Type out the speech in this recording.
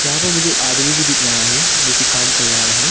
यहां पर मुझे आदमी भी दिख रहा है जो की काम कर रहा है।